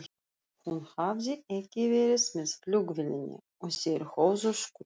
Hún hafði ekki verið með flugvélinni og þeir höfðu skutlað